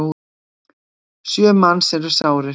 Sjö manns eru sárir.